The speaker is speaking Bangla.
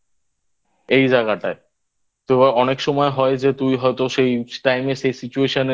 এই জায়গাটায় তো অনেক সময় হয় যে তুই হয়তো সেই Time এ সেই Situation